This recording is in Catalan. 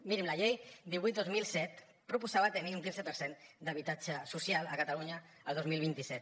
mirin la llei divuit dos mil set proposava tenir un quinze per cent d’habitatge social a catalunya el dos mil vint set